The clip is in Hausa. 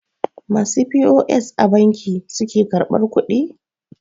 masu p.o.s a banki suke karbar kudi?